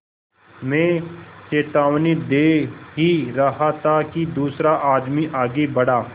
मैं चेतावनी दे ही रहा था कि दूसरा आदमी आगे बढ़ा